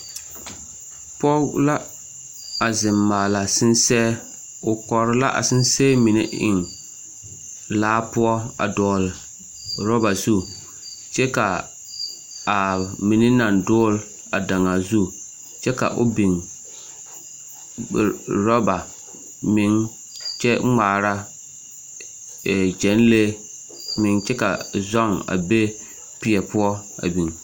Pɔge la a zeŋ maala sensɛɛ o kɔre la sensɛɛ mine eŋ laa poɔ a dɔgle ɔrɔba zu kyɛ kaa a mine naŋ dogle a daŋaa zu kyɛ ka o beŋ ɔrɔba meŋ kyɛ ŋmaara gyɛnlee meŋ kyɛ ka zɔŋ a be peɛ poɔ a beŋ.